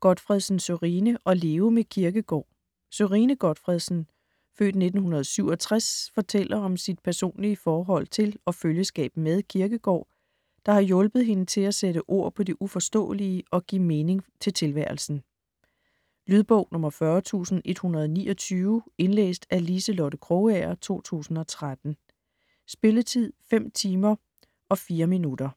Gotfredsen, Sørine: At leve med Kierkegaard Sørine Gotfredsen (f. 1967) fortæller om sit personlige forhold til og følgeskab med Kierkegaard, der har hjulpet hende til at sætte ord på det uforståelige og give mening til tilværelsen. Lydbog 40129 Indlæst af Liselotte Krogager, 2013. Spilletid: 5 timer, 4 minutter.